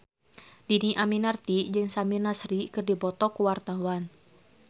Dhini Aminarti jeung Samir Nasri keur dipoto ku wartawan